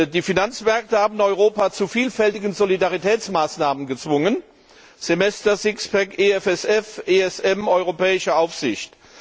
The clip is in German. Die Finanzmärkte haben Europa zu vielfältigen Solidaritätsmaßnahmen gezwungen Semester, Sixpack, EFSF, ESM, europäische Aufsicht.